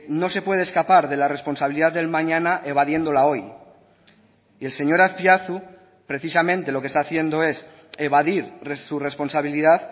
no se puede escapar de la responsabilidad del mañana evadiéndola hoy y el señor azpiazu precisamente lo que está haciendo es evadir su responsabilidad